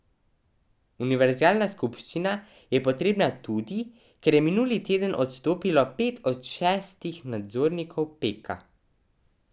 Univerzalna skupščina je potrebna tudi, ker je minuli teden odstopilo pet od šestih nadzornikov Peka.